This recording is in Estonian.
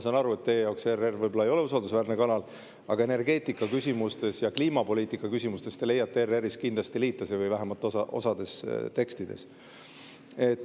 Ma saan aru, et teie jaoks ERR võib-olla ei ole usaldusväärne kanal, aga energeetikaküsimustes ja kliimapoliitikaküsimustes te leiate ERR‑is või vähemalt osas selle tekstides kindlasti liitlase.